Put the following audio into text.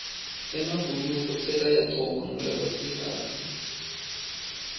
emabhuluko sekayagcokwa ngulabasikati